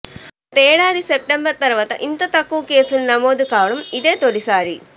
గతేడాది సెప్టెంబర్ తర్వాత ఇంత తక్కువ కేసులు నమోదు కావడం ఇదే తొలిసారి